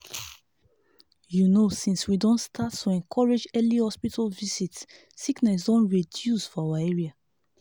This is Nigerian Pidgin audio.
you know since we don start to encourage early hospital visit sickness don reduce for our area.